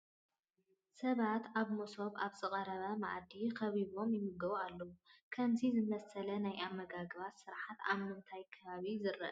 ሰባት ኣብ መሶብ ኣብ ዝቐረበ መኣዲ ከቢቦም ይምገቡ ኣለዉ፡፡ ከምዚ ዝኣምሰለ ናይ ኣመጋግባ ስርዓት ኣብ ምንታይ ከባቢ ዝርአ ዓይነት እዩ?